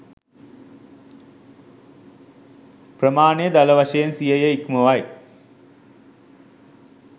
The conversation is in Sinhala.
ප්‍රමාණය දළ වශයෙන් සියය ඉක්මවයි